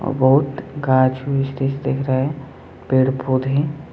और बहुत घास दिख रहा है पेड़ पौधे--